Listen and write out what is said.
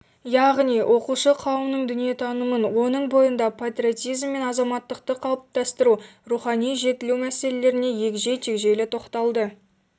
яғни оқушы қауымның дүниетанымын оның бойында патриотизм мен азаматтықты қалыптастыру рухани жетілу мәселелеріне егжей-тегжейлі тоқталды